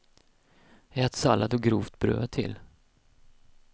Ät sallad och grovt bröd till.